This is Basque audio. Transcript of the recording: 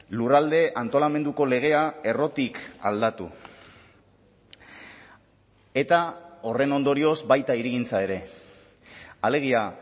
lurralde antolamenduko legea errotik aldatu eta horren ondorioz baita hirigintza ere alegia